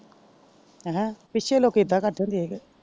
ਹੈਂ ਪੀਛੇ ਲੋਕੀ ਇੱਦਾ ਕਰਦੇ ਹੁੰਦੇ ਸੀ।